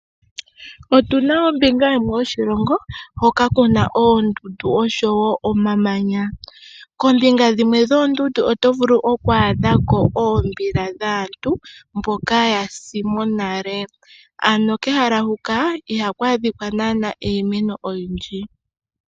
Otu naombinga yimwe yoshilongo hoka ku na oondundu oshowo omamanya. Koombinga dhimwe dhoondundu oto vulu oku adha ko oombila dhaantu mboka ya sa nale, ano kehala huka ihaku adhika naanaa iimeno oyindji.